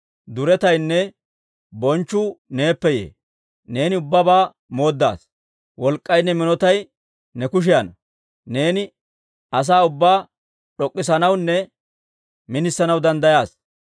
Duretaynne bonchchu neeppe yee; neeni ubbabaa moodasaa. Wolk'k'aynne minotay ne kushiyaanna; neeni asaa ubbaa d'ok'k'issanawunne minisanaw danddayaasa.